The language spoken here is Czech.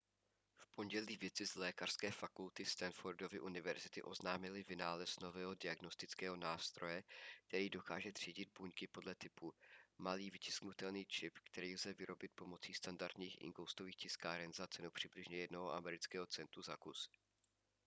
v pondělí vědci z lékařské fakulty stanfordovy univerzity oznámili vynález nového diagnostického nástroje který dokáže třídit buňky podle typu malý vytisknutelný čip který lze vyrobit pomocí standardních inkoustových tiskáren za cenu přibližně jednoho amerického centu za kus